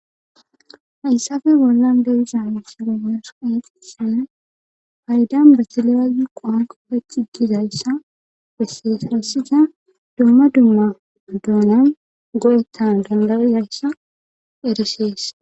Hayssafe bollan dawisan s gemerseq sina haydan basileyaziqoan koppe ciggizayssa besseesarassiza dumma dumma adoonan go7ettan dandawizayssa ereseessa